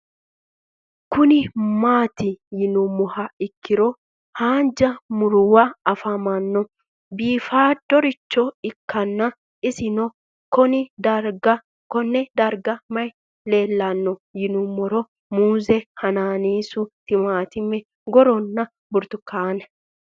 Kuni mati yinumoha ikiro hanja murowa afine'mona bifadoricho ikana isino Kone darga mayi leelanno yinumaro muuze hanannisu timantime gooranna buurtukaane